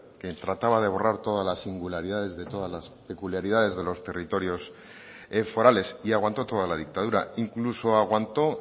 que trataba de borrar todas las singularidades de todas las peculiaridades de los territorios forales y aguantó toda la dictadura incluso aguantó